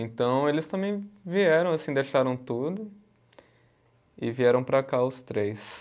Então eles também vieram, assim, deixaram tudo e vieram para cá os três.